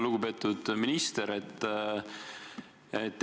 Lugupeetud minister!